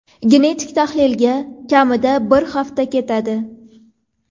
Genetik tahlilga kamida bir hafta ketadi.